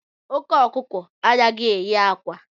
Oke okuko anaghị eyi akwa